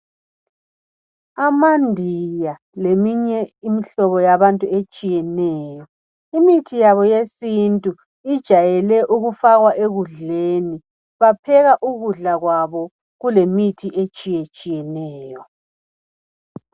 AmaNdiya leminye imihlobo yabantu etshiyeneyo. Imithi yabo yesintu ijayele ukufakwa ekudleni . Bapheka ukudla kwabo kulemithi etshiyetshiyeneyo.